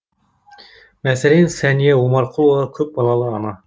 мәселен сәния омарқұлова көпбалалы ана